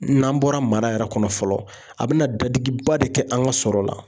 N'an bɔra mara yɛrɛ kɔnɔ fɔlɔ a bɛ na dadigiba de kɛ an ka sɔrɔ la .